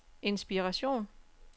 inspiration